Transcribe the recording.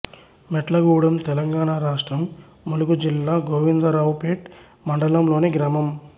మొట్లగూడెం తెలంగాణ రాష్ట్రం ములుగు జిల్లా గోవిందరావుపేట్ మండలంలోని గ్రామం